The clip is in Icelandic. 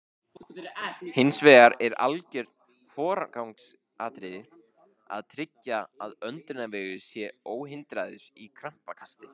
Hins vegar er algjört forgangsatriði að tryggja að öndunarvegur sé óhindraður í krampakasti.